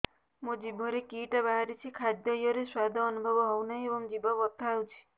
ମୋ ଜିଭରେ କିଟା ବାହାରିଛି ଖାଦ୍ଯୟରେ ସ୍ୱାଦ ଅନୁଭବ ହଉନାହିଁ ଏବଂ ଜିଭ ବଥା ହଉଛି